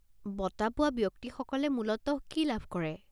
বঁটা পোৱা ব্যক্তিসকলে মূলতঃ কি লাভ কৰে?